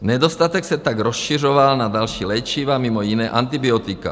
Nedostatek se tak rozšiřoval na další léčiva, mimo jiné antibiotika.